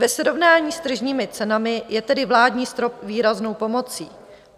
Ve srovnání s tržními cenami je tedy vládní strop výraznou pomocí.